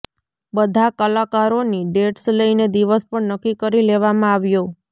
બધા કલાકારોની ડેટ્સ લઈને દિવસ પણ નક્કી કરી લેવામાં આવ્યો